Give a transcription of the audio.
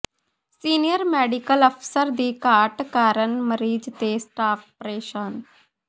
senior medical ਅਫ਼ਸਰ ਦੀ ਘਾਟ ਕਾਰਨ ਮਰੀਜ਼ ਤੇ ਸਟਾਫ਼ ਪ੍ਰੇਸ਼ਾਨ